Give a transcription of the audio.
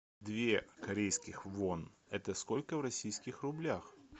две корейских вон это сколько в российских рублях